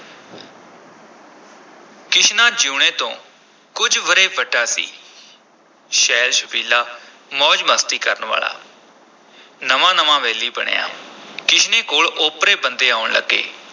ਕਿਸ਼ਨਾ ਜੀਊਣੇ ਤੋਂ ਕੁਝ ਵਰ੍ਹੇ ਵੱਡਾ ਸੀ ਛੈਲ-ਛਬੀਲਾ, ਮੌਜ-ਮਸਤੀ ਕਰਨ ਵਾਲਾ ਨਵਾਂ-ਨਵਾਂ ਵੈਲੀ ਬਣਿਆ ਕਿਸ਼ਨੇ ਕੋਲ ਓਪਰੇ ਬੰਦੇ ਆਉਣ ਲੱਗੇ।